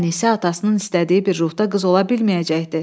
Ənisə atasının istədiyi bir ruhda qız ola bilməyəcəkdi.